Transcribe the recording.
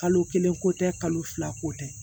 Kalo kelen ko tɛ kalo fila ko tɛ